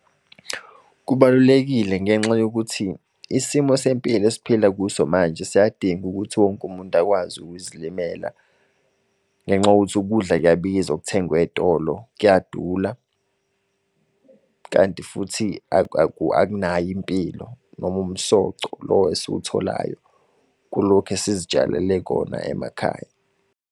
Kubalulekile ngenxa yokuthi, isimo sempilo esiphila kuso manje siyadinga ukuthi wonke umuntu akwazi ukuzilimela. Ngenxa yokuthi ukudla kuyabiza okuthengwe eyitolo, kuyadula. Kanti futhi akunayo impilo noma umsoco lo esiwutholayo kulokhu esizitshalele khona emakhaya.